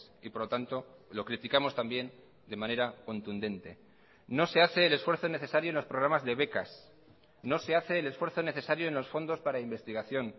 y por lo tanto lo criticamos también de manera contundente no se hace el esfuerzo necesario en los programas de becas no se hace el esfuerzo necesario en los fondos para investigación